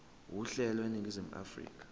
uhlelo eningizimu afrika